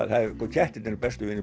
kettirnir eru bestu vinir